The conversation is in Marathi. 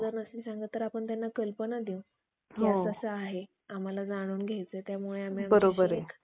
कि असं असं आहे आम्हला जाणून घ्यायचय त्यामुळे आम्ही अशी एक